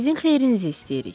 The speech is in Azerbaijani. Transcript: Sizin xeyrinizi istəyirik.